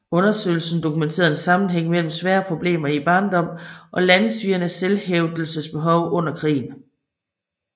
Undersøgelsen dokumenterede en sammenhæng mellem svære problemer i barndommen og landssvigernes selvhævdelsesbehov under krigen